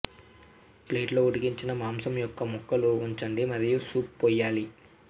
plate లో ఉడికించిన మాంసం యొక్క ముక్కలు ఉంచండి మరియు సూప్ పోయాలి